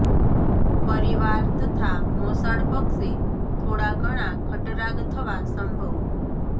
પરિવાર તથા મોસાળ પક્ષે થોડા ઘણાં ખટરાગ થવા સંભવ